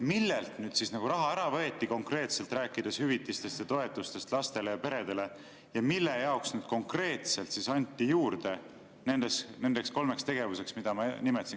Millelt siis raha ära võeti konkreetselt, rääkides hüvitistest ja toetustest lastele ja peredele, ja mille jaoks konkreetselt anti juurde nendeks kolmeks tegevuseks, mida ma nimetasin?